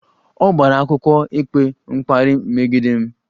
Ọ gbara akwụkwọ ikpe mkparị megide m